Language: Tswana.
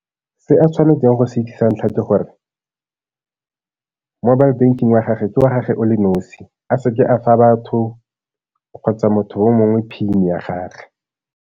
Se a tshwanetseng go se sa ntlha ke gore mobile banking wa gagwe ke wa gagwe o le nosi, a se ke a fa batho kgotsa motho yo mongwe PIN-e ya gagwe.